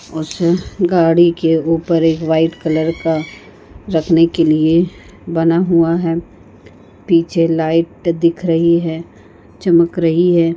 ऊस गाडी के ऊपर एक वाइट कलर का रखने के लिए बना हुआ है पीछे लाइट दिख रही है चमक रही है।